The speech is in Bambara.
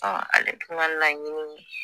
Ale tun ka laɲini ye